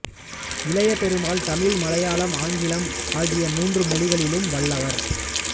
இளையபெருமாள் தமிழ் மலையாளம் ஆங்கிலம் ஆகிய மூன்று மொழிகளிலும் வல்லவர்